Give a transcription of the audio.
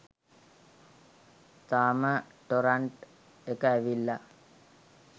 තාම ටොරන්ට් එක ඇවිල්ලා